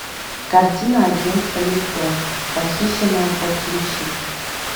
картина агент хамилтон похищенная подключи